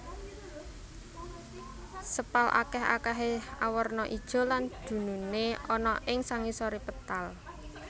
Sepal akèh akèhé awarna ijo lan dununé ana ing sangisoré petal